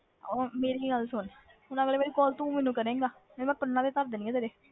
ਉਹ ਮੇਰੀ ਗੱਲ ਸੁਣ ਹੁਣ ਅਗਲੀ ਵਾਰੀ call ਤੂੰ ਮੈਨੂੰ ਕਰੇਂਗਾ ਨਹੀਂ ਮੈਂ ਕੰਨਾਂ ਤੇ ਧਰ ਦੇਣੀਆਂ ਤੇਰੇ,